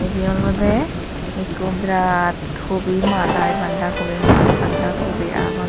ibey olodey ekko birat hobi maat i banda kobi maat banda kobi agon.